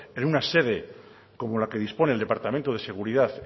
en una sede como la que dispone el departamento de seguridad